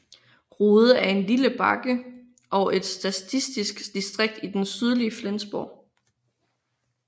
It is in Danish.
Rude er en lille bakke og et statistisk distrikt i det sydlige Flensborg